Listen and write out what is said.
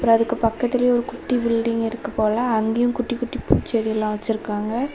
அதுக்கு பக்கத்திலேயே ஒரு குட்டி பில்டிங் இருக்கு போல அங்கயும் குட்டி குட்டி பூ செடி எல்லாம் வச்சிருக்காங்க.